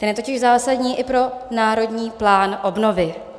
Ten je totiž zásadní i pro Národní plán obnovy.